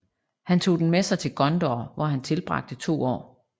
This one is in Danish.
Han tog den med sig til Gondor hvor han tilbragte to år